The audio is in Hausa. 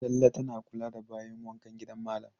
Talle tana kula da bayin wankan gidan malam.